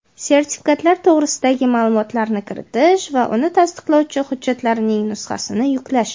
sertifikat to‘g‘risidagi ma’lumotlarni kiritish va uni tasdiqlovchi hujjatning nusxasini yuklash;.